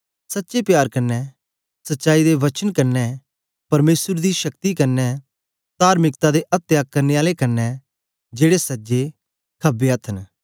सच्चे प्यार कन्ने सच्चाई दे वचन कन्ने परमेसर दी शक्ति कन्ने तार्मिकता दे अत्या करने आले कन्ने जेड़े सज्जे खबे अथ्थ न